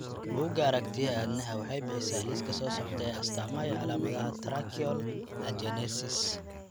Buugga Aragtiyaha Aadanaha waxay bixisaa liiska soo socda ee astaamaha iyo calaamadaha Tracheal agenesis.